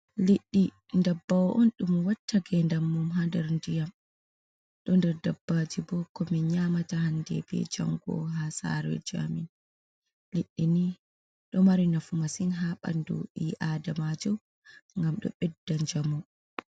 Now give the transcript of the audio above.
Liɗɗi ndabbaw on ɗum watta gendal mum ha nder ndiyam, ɗo nder dabbaji bo ko min nyamata hande be jango ha sareji amin liɗɗini ɗo mari nafu masin ha ɓandu ɓi adamajo ngam ɗo ɓedda njamu.